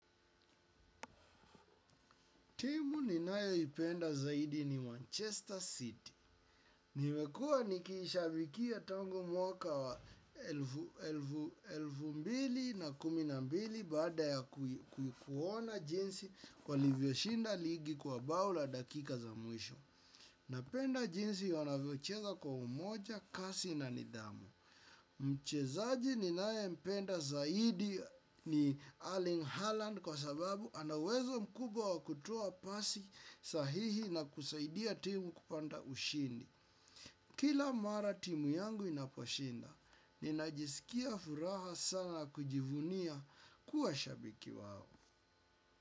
Timu ninayoipenda zaidi ni Manchester City. Nimekua nikiishabikia tangu mwaka wa elfu mbili na kumi na mbili bada ya kuona jinsi walivyoshinda ligi kwa bao la dakika za mwisho. Napenda jinsi wanavyocheza kwa umoja, kasi na nidhamu. Mchezaji ninayempenda zaidi ni Arling Haaland kwa sababu ana uwezo mkubwa wakutoa pasi sahihi na kusaidia timu kupanda ushindi. Kila mara timu yangu inaposhinda, ninajisikia furaha sana kujivunia kuwa shabiki wao.